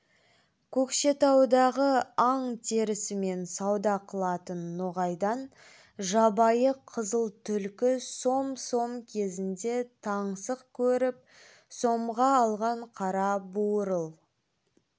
көкшетаудағы аң терісімен сауда қылатын ноғайдан жабайы қызыл түлкі сом сом кезінде таңсық көріп сомға алған қара буырыл